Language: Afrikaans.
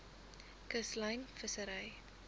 kuslyn vissery